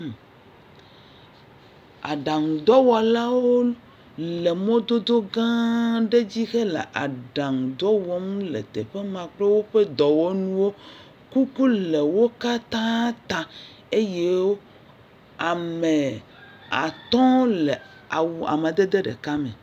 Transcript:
Aɖaŋudɔwɔlawo le mɔdodo gã aɖe dzi hele aɖaŋudɔ wɔm le teƒe ma kple woƒe dɔwɔnuwo. Kuku le wo katã ta eye ame atɔ̃ le awu amadede ɖeka me.